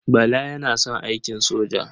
Bala yana son aikin soja.